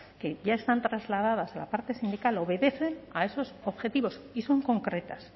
que ya están trasladadas a la parte sindical obedecen a esos objetivos y son concretas